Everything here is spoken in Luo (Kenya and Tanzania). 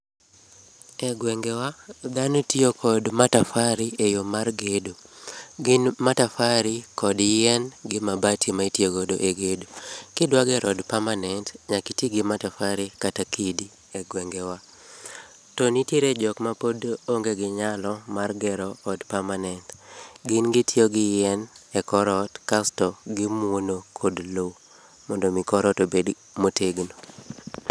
E gwengewa dhano tiyo kod matafari e yoo mar gedo. Gin matafari kod yien gi mabati ma itiyo godo e gedo. Kidwa gero od permanent nyaka iti gi matafari kata kidi e gwengewa. To nitie jokma pod onge gi nyalo mar gero od permanent, gin gitiyo gi yien e kor ot kasto gimuono kod loo mondo mi kor ot obed motegno